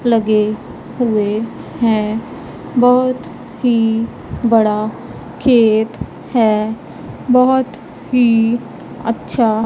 लगे हुए हैं बहुत ही बड़ा खेत है बहुत ही अच्छा--